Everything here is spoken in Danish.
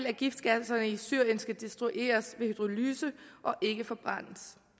af giftgasserne i syrien skal destrueres ved hydrolyse og ikke forbrændes